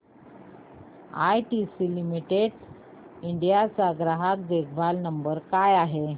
ITC limited India चा ग्राहक देखभाल नंबर काय आहे